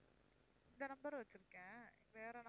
இந்த number வச்சிருக்கேன் வேற number